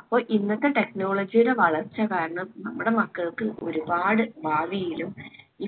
അപ്പൊ ഇന്നത്തെ technology ടെ വളർച്ച കാരണം നമ്മുടെ മക്കൾക്ക് ഒരുപാട് ഭാവിയിലും